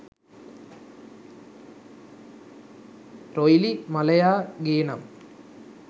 රොයිලි මලයා ගේනම්